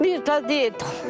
Niyə də etdim?